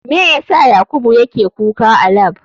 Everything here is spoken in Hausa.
Me yasa yakubu yake kuka a lab?